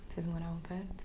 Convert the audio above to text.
Vocês moravam perto?